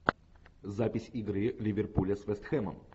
запись игры ливерпуля с вест хэмом